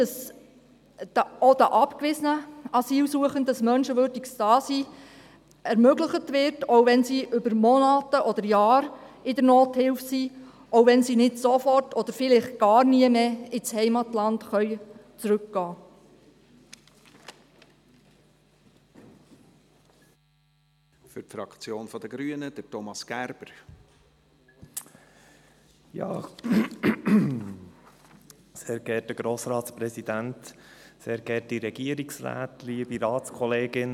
Auch den abgewiesenen Asylsuchenden soll ein menschenwürdiges Dasein ermöglicht werden, auch wenn sie über Monate oder Jahre in der Nothilfe sind, auch wenn sie nicht sofort oder vielleicht gar nie mehr ins Heimatland zurückkehren können.